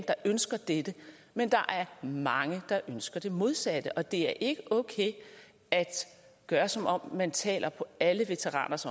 der ønsker dette men der er mange der ønsker det modsatte og det er ikke okay at gøre som om man taler på alle veteraners